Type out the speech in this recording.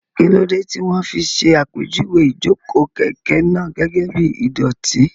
Kí ló dé tí wọ́n fi ṣàpèjúwe ìjókòó kẹ̀kẹ́ náà gẹ́gẹ́ bí ìdọ̀tí?